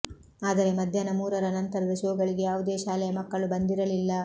ಆದರೆ ಮಧ್ಯಾಹ್ನ ಮೂರರ ನಂತರದ ಶೋಗಳಿಗೆ ಯಾವುದೇ ಶಾಲೆಯ ಮಕ್ಕಳು ಬಂದಿರಲಿಲ್ಲ